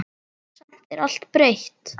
Samt er allt breytt.